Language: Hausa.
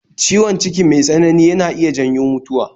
Ciwon ciki mai tsanani yana iya janyo mutuwa